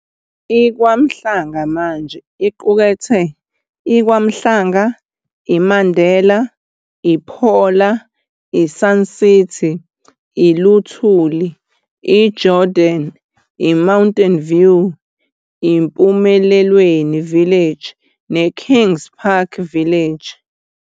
I-Kwamhlanga manje iqukethe i-KwaMhlanga, i-Mandela, i-Phola, i-Sun City, i-Lithuli, i-Jordan, i-Mountain View, i-eMpumelelweni Village, neKingspark Village.